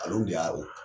Al'o de y'a o